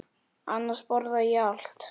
Annars borða ég allt.